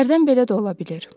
Hərdən belə də ola bilir.